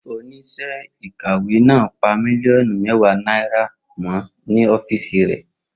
Oníṣẹ́ ìkàwé náà pa mílíọ̀nù mẹ́wàá náírà mọ́ ní ọ́fíìsì rẹ̀.